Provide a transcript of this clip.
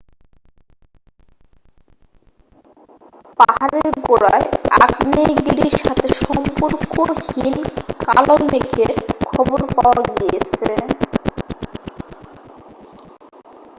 পাহাড়ের গোড়ায় আগ্নেয়গিরির সাথে সম্পর্কহীন কালো মেঘের খবর পাওয়া গিয়েছে